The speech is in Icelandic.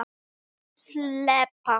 Óðinn Jónsson: Líka fyrir bankana.